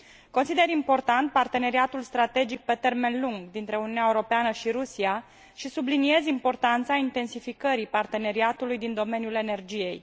Consider important parteneriatul strategic pe termen lung dintre Uniunea Europeană și Rusia și subliniez importanța intensificării parteneriatului din domeniul energiei.